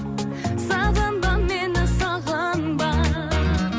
сағынба мені сағынба